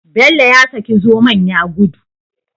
Bello ya saki zomon ya gudu